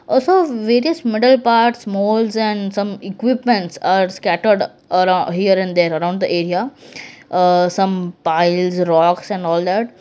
also various metal parts moulds and some equipments are scattered ar here and there around the area uh some piles rocks and all that.